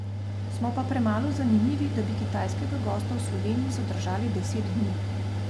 Smo pa premalo zanimivi, da bi kitajskega gosta v Sloveniji zadržali deset dni.